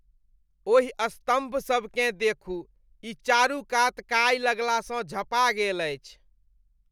ओहि स्तम्भसभकेँ देखू। ई चारु कात काई लगलासँ झँपा गेल अछि।